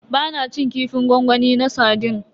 Ba na cin kifin gwangwami na sardine.